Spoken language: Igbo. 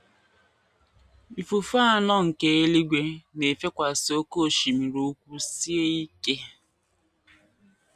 “ Ifufe anọ nke eluigwe na - efekwasị oké osimiri ukwu sie ike.